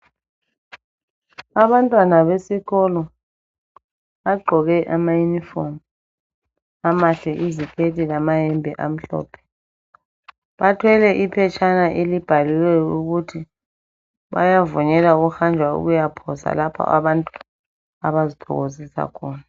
Abantwana besikolo bagqoke amayunifomu amahle iziketi lamayembe amhlophe. Bathwele iphetshana elibhaliweyo ukuthi bayavunyelwa ukuhanjwa ukuyaphosa lapho abantu abazithokozisa khona.